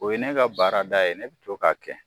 O ye ne ka baarada ye ne bɛ to k'a kɛ